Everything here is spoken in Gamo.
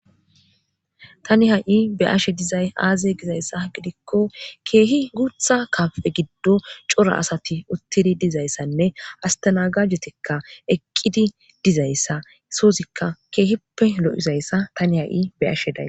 tani ha7i be7ashe dizay aaze gizaysa gidiko keehi guutha kaafe giddo cora asathi uttidi dizaysane astanagajetikka eqqidi dizayssa sozikka keehipe lo7iza isa tani ha7i be7ashe days.